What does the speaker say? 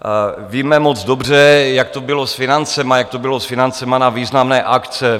Víme moc dobře, jak to bylo s financemi, jak to bylo s financemi na významné akce.